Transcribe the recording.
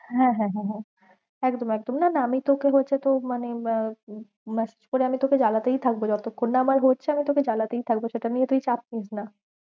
হ্যাঁ হ্যাঁ হ্যাঁ একদম একদম, না না আমি তোকে হচ্ছে তো মানে উহ message করে আমি তোকে জালাতেই থাকবো যতক্ষণ না আমার হচ্ছে আমি তোকে জালতেই থাকবো সেটা নিয়ে তুই চাপ নিস না।